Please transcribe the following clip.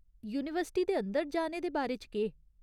University दे अंदर जाने दे बारे च केह् ?